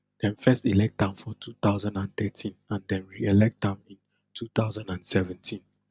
dem first elect am for two thousand and thirteen and dem reelect am in two thousand and seventeen